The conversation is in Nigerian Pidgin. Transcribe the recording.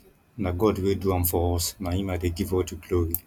na god wey do am for us na him i dey give all the glory